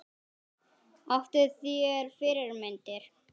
Áttu þér fyrirmyndir?